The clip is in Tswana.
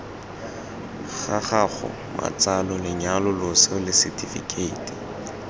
gago matsalo lenyalo loso lesetifikheiti